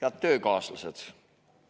Head töökaaslased!